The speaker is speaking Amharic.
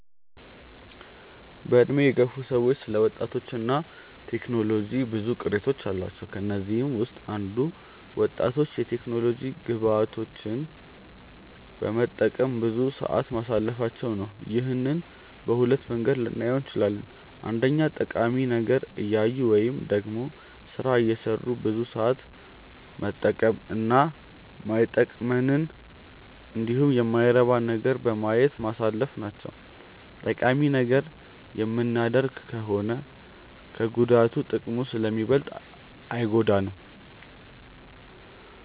በዕድሜ የገፉ ሰዎች ስለ ወጣቶች እና ቴክኖሎጂ ብዙ ቅሬታዎች አሏቸው። ከነዚህም ውስጥ አንዱ ወጣቶች የቴክኖሎጂ ግብአቶችን በመጠቀም ብዙ ሰዓት ማሳለፋቸው ነው። ይህንን በሁለት መንገድ ልናየው እንችላለን። አንደኛ ጠቃሚ ነገር እያዩ ወይም ደግሞ ስራ እየሰሩ ብዙ ሰዓት መጠቀም እና ማይጠቅመንንን እንዲሁም የማይረባ ነገርን በማየት ማሳለፍ ናቸው። ጠቃሚ ነገር የምናደርግ ከሆነ ከጉዳቱ ጥቅሙ ስለሚበልጥ አይጎዳንም።